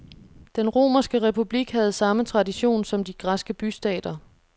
Den romerske republik havde samme tradition som de græske bystater.